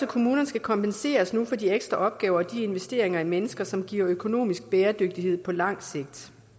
kommunerne skal kompenseres nu for de ekstra opgaver og de investeringer i mennesker som giver økonomisk bæredygtighed på lang sigt